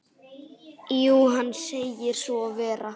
Jú, hann segir svo vera.